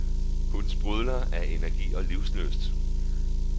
Hun sprudler af energi og livslyst.